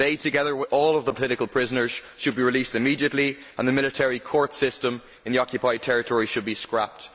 They, together with all of the political prisoners, should be released immediately and the military court system in the occupied territory should be scrapped.